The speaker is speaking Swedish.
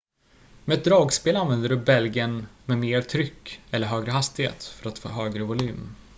med ett dragspel använder du bälgen med mer tryck eller högre hastighet för att få högre volym